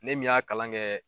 Ne min y'a kalan kɛ